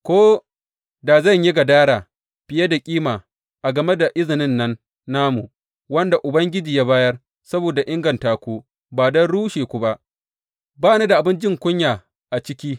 Ko da zan yi gadara fiye da kima a game da izinin nan namu, wanda Ubangiji ya bayar saboda inganta ku, ba don rushe ku ba, ba ni da abin jin kunya a ciki.